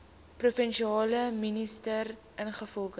provinsiale minister ingevolge